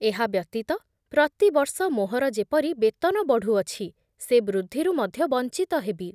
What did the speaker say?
ଏହା ବ୍ୟତୀତ ପ୍ରତିବର୍ଷ ମୋହର ଯେପରି ବେତନ ବଢ଼ୁଅଛି, ସେ ବୃଦ୍ଧିରୁ ମଧ୍ୟ ବଞ୍ଚିତ ହେବି ।